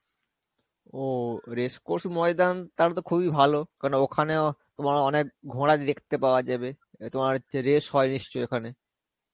ও, race Course Maidan তাহলেতো খুবই ভালো. কারণ ওখানেও অনেক ঘোড়া দেখতে পাওয়া যাবে. আ তোমার হচ্ছে race হয় নিশ্চয় ওখানে.